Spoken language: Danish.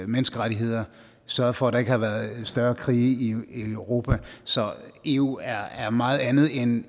menneskerettigheder sørget for at der ikke har været større krige i europa så eu er er meget andet end